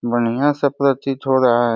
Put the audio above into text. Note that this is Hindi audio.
बढ़िय- सा प्रतीत हो रहा है।